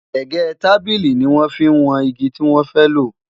gégé tábìlì ní wọn fí wón ìgi tí wọn fẹ lo